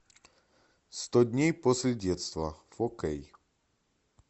сто дней после детства фо кей